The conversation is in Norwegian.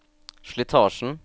slitasjen